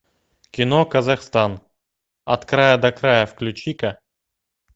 кино казахстан от края до края включи ка